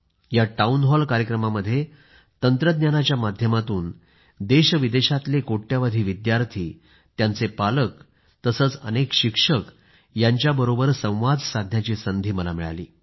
या town hall कार्यक्रमामध्ये तंत्रज्ञानाच्या माध्यमातून देशविदेशातले कोट्यवधी विद्यार्थीत्यांचे पालक तसेच अनेक शिक्षक यांच्याबरोबर संवाद साधण्याची संधी मला मिळाली